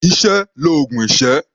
Iṣẹ́ l'oògùn ìṣẹ́.